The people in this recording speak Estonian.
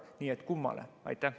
Nii et kummale?